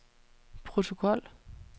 protokol